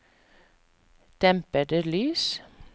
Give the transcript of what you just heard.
dempede lys